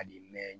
A bi mɛn